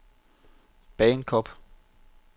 Bagenkop